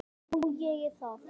Ég finn